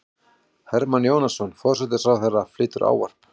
Hermann Jónasson, forsætisráðherra, flytur ávarp.